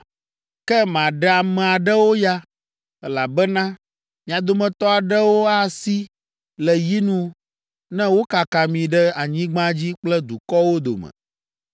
“Ke maɖe ame aɖewo ya, elabena mia dometɔ aɖewo asi le yinu ne wokaka mi ɖe anyigba dzi kple dukɔwo dome.